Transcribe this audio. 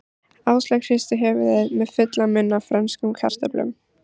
Áslaug hristi höfuðið með fullan munn af frönskum kartöflum.